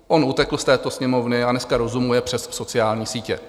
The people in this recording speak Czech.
On utekl z této Sněmovny a dneska rozumuje přes sociální sítě.